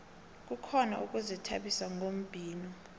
kukhona ukuzithabisa ngombhino